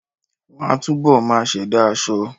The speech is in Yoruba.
Wọ́n á túbọ̀ máa ṣẹ̀dá aṣọ